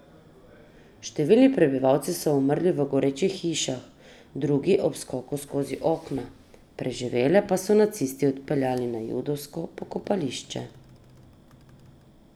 Številni prebivalci so umrli v gorečih hišah, drugi ob skoku skozi okna, preživele pa so nacisti odpeljali na judovsko pokopališče.